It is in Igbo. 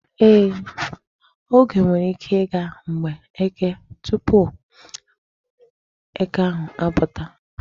Ee, oge nwere ike ịga mgbe Eke tupu eke ahụ apụta.